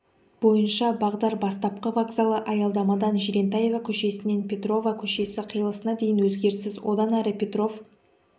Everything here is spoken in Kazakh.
бойынша бағдар бастапқы вокзалы аялдамадан жирентаева көшесінен петрова көшесі қиылысына дейін өзгеріссіз одан әрі петров